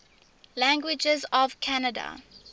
languages of canada